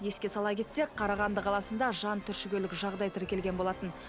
еске сала кетсек қарағанды қаласында жан түршігерлік жағдай тіркелген болатын